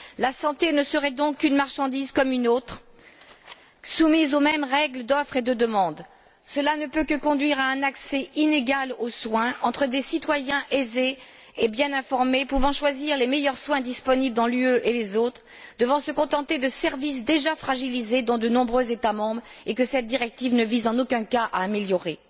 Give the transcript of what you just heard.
La santé ne serait donc qu'une marchandise comme une autre, soumise aux mêmes règles d'offre et de demande. Cela ne peut que conduire à un accès inégal aux soins entre des citoyens aisés et bien informés, pouvant choisir les meilleurs soins disponibles dans l'UE, et les autres devant se contenter de services déjà fragilisés dans de nombreux États membres, et que cette directive ne vise en aucun cas à améliorer.